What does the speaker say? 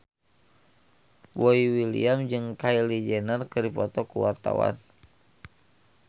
Boy William jeung Kylie Jenner keur dipoto ku wartawan